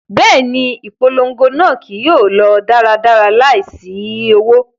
Bẹẹni, ipolongo naa kii yóò lọ daradara laisi owo